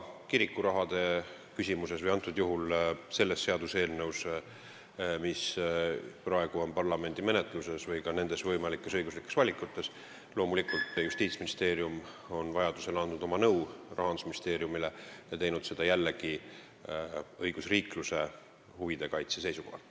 Kirikurahade küsimuses – praegusel juhul selle seaduseelnõu teemal, mis on parlamendi menetluses, samuti võimalikes õiguslikes valikutes – on Justiitsministeerium loomulikult andnud Rahandusministeeriumile nõu ja teinud seda jällegi õigusriikluse huvide kaitse seisukohalt.